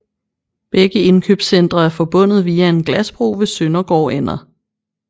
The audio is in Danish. Begge indkøbscentre er forbundet via en glasbro ved Søndergårdender